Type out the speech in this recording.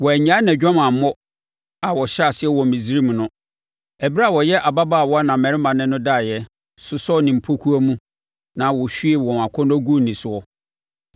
Wannyae nʼadwamammɔ a ɔhyɛɛ aseɛ wɔ Misraim no, ɛberɛ a ɔyɛ ababaawa na mmarima ne no daeɛ, sosɔɔ ne mpokuwa mu na wɔhwiee wɔn akɔnnɔ guu ne soɔ.